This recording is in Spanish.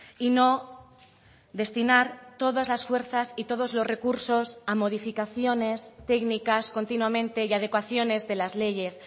y no destinar todas las fuerzas y todos los recursos a modificaciones técnicas continuamente y a adecuaciones de las leyes